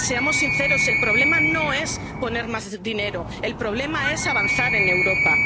por Europa. Seamos sinceros, el problema no es poner más dinero, el problema es avanzar